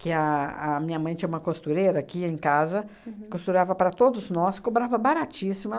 que a a minha mãe tinha uma costureira que ia em casa, costurava para todos nós, cobrava baratíssimo.